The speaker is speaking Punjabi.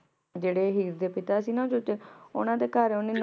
ਜੇਰੇ ਹੀਰ ਦੇ ਪਿਤਾ ਸੀ ਨਾ ਚੂਚਕ ਓਨਾਂ ਦੇ ਘਰ ਓਨੇ ਨੌਕਰੀ ਲੇ